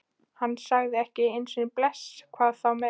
Hann sagði ekki einu sinni bless, hvað þá meir.